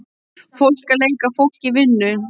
Fólk að leika fólk í vinnu.